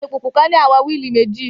Alupupu kan ni awọn willi meji